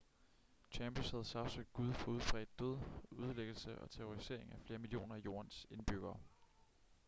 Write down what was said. chambers havde sagsøgt gud for udbredt død ødelæggelse og terrorisering af flere millioner af jordens indbyggere